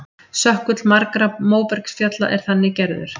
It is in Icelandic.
Sökkull margra móbergsfjalla er þannig gerður.